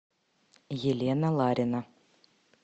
елена ларина